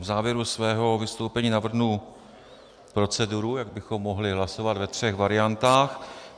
V závěru svého vystoupení navrhnu proceduru, jak bychom mohli hlasovat ve třech variantách.